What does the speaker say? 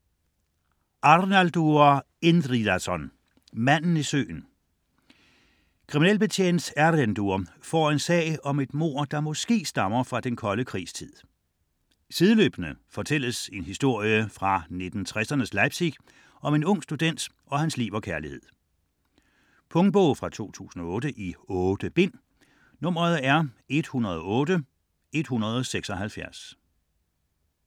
Arnaldur Indridason: Manden i søen Kriminalbetjent Erlendur får en sag om et mord, der måske stammer fra den kolde krigs tid. Sideløbende fortælles en historie fra 1960'ernes Leipzig om en ung student og hans liv og kærlighed. Punktbog 108176 2008. 8 bind.